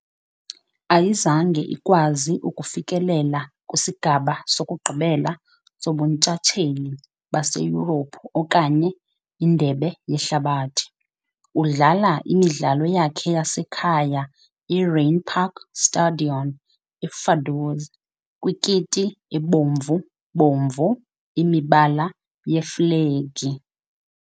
Ayizange ikwazile ukufikelela kwisigaba sokugqibela soBuntshatsheli baseYurophu okanye iNdebe yeHlabathi . Udlala imidlalo yakhe yasekhaya eRheinpark Stadion eVaduz, kwikiti ebomvu-bomvu, imibala yeflegi .